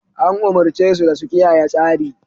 An umurce su da su kiyaye tsari!